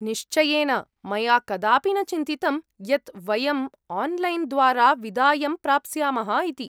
निश्चयेन, मया कदापि न चिन्तितम् यत् वयम् आन्लैन् द्वारा विदायं प्राप्स्यामः इति।